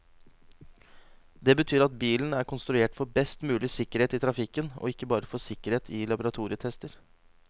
Det betyr at bilen er konstruert for best mulig sikkerhet i trafikken, og ikke bare for sikkerhet i laboratorietester.